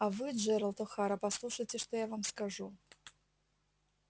а вы джералд охара послушайте что я вам скажу